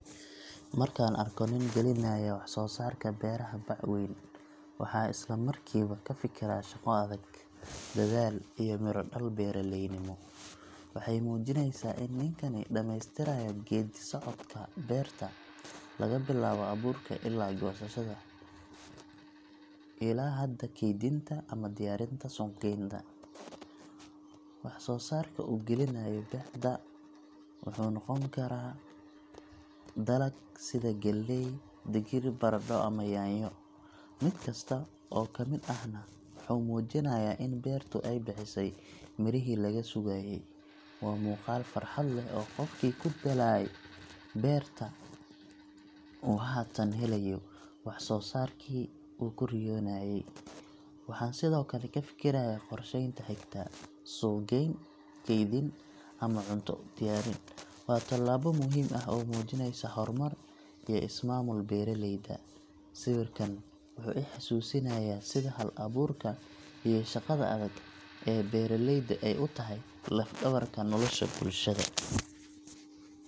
Marka aan arko nin gelinaya wax-soo-saarka beeraha bac weyn, waxaan isla markiiba ka fikiraa shaqo adag, dadaal, iyo midho-dhal beeraleynimo. Waxay muujinaysaa in ninkani dhammaystirayo geeddi-socodkii beerta laga bilaabo abuurka ilaa goosashada, ilaa hadda kaydinta ama diyaarinta suuq-geynta. Wax-soo-saarka uu gelinayo bacda wuxuu noqon karaa dalag sida galley, digir, baradho, ama yaanyo — mid kasta oo ka mid ahna wuxuu muujinayaa in beertu ay bixisay mirihii laga sugayay. Waa muuqaal farxad leh oo qofkii ku daalay beerta uu haatan helayo wax-soo-saarkii uu ku riyoonayay. Waxaan sidoo kale ka fikirayaa qorsheynta xigta: suuq-geyn, kaydin, ama cunto u diyaarin. Waa tallaabo muhiim ah oo muujinaysa horumar iyo is-maamul beeraleyda. Sawirkan wuxuu i xasuusinayaa sida hal abuurka iyo shaqada adag ee beeraleyda ay u tahay laf-dhabarka nolosha bulshada.